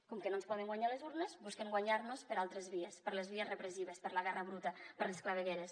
com que no ens poden guanyar a les urnes busquen guanyar nos per altres vies per les vies repressives per la guerra bruta per les clavegueres